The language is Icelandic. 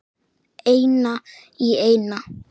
Eina í eina.